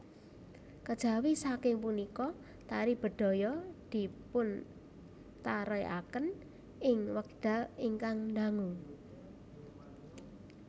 Kejawi saking punika tari bedhaya dipuntarèkaken ing wekdal ingkang dangu